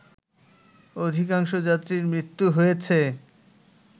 অধিকাংশ যাত্রীর মৃত্যু হয়েছে